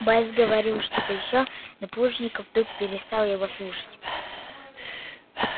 боец говорил что то ещё но плужников вдруг перестал его слушать